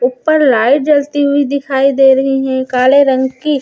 ऊपर लाइट जलती हुई दिखाई दे रही है काले रंग की।